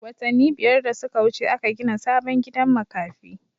Watanin biyar da suka wuce aka gina sabon gidan makafi